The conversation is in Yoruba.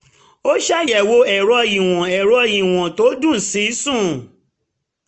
ó ṣàyẹwo ẹ̀rọ ìwọ̀n ẹ̀rọ ìwọ̀n tó um dùn sí sùn